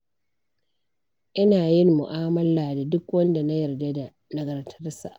Ina yin mu'amala da duk wanda na yarda da nagartarsa.